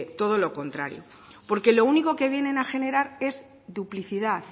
todo lo contrario porque lo único que viene a generar es duplicidad